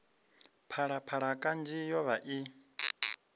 phalaphala kanzhi yo vha i